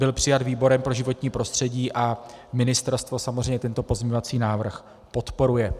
Byl přijat výborem pro životní prostředí a ministerstvo samozřejmě tento pozměňovací návrh podporuje.